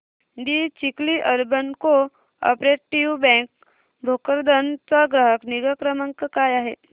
दि Chikhli urban cooperative bank Bhokardan चा ग्राहक निगा क्रमांक काय आहे